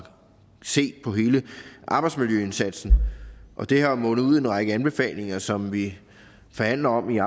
set på hele arbejdsmiljøindsatsen og det har jo mundet ud i en række anbefalinger som vi forhandler om i